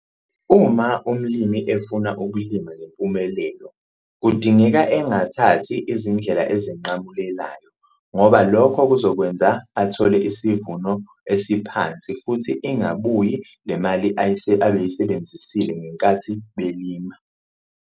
Uma umlimi efuna ukulima ngempumelelo kudingeka engathathi izindlela ezinqamulelayo ngoba lokho kuzokwenza athole sivuno esiphansi futhi ingabuyi le mali abayisebenzisile ngenkathi belima.